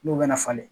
N'u bɛna falen